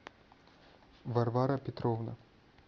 варвара петровна